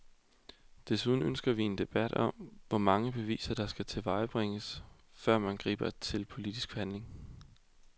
Desuden ønsker vi en debat om, hvor mange beviser der skal tilvejebringes, før man griber til politisk handling.